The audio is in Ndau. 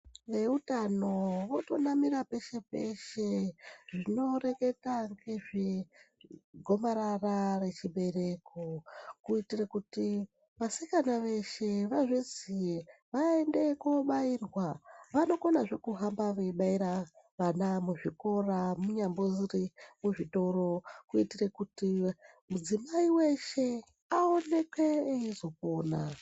Veutano vari kunamira peshe peshe zvinoreketa ngezvegomarara rechibereko kuitire kuti vasikana veshe vazviziye vaende kobairwa. Vanokonazve kuhamba veibaira vana muzvikora, munyambori muzvitoro kuitire kuti mudzimai weshe aonekwe eyizvikona.